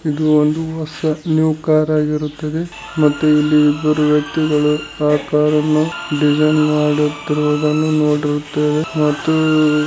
ಇದು ಒಂದು ಹೊಸ ನ್ಯೂ ಕಾರ್‌ ಆಗಿರುತ್ತದೆ ಮತ್ತು ಇಲ್ಲಿ ಇಬ್ಬರು ವ್ಯಕ್ತಿಗಳು ಆ ಕಾರನ್ನು ಡಿಸೈನಿಂಗ್‌ ಮಾಡುತ್ತಿರುವುದನ್ನು ನೋದಿರುತ್ತೇವೆ ಮತ್ತೂ--